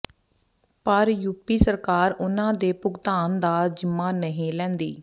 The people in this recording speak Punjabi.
ਪਰ ਯੂਪੀ ਸਰਕਾਰ ਉਨ੍ਹਾਂ ਦੇ ਭੁਗਤਾਨ ਦਾ ਜ਼ਿੰਮਾ ਨਹੀਂ ਲੈਂਦੀ